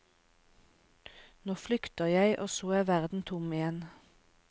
Nå flykter jeg, og så er verden tom igjen.